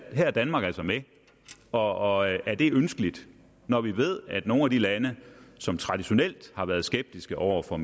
her er danmark altså med og er det ønskeligt når vi ved at nogle af de lande som traditionelt har været skeptiske over for